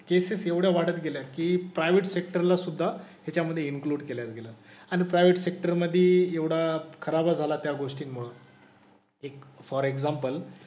Cases एवढ्या वाढत गेल्या की प्रायवेट सेक्टर ला सुद्धा ह्याच्यामधे इन्कलुड केलं गेलं. आणि प्रायवेट सेक्टर मध्ये एवढा खराब झाला त्या गोष्टींमुळं. एक फॉर एक्साम्पल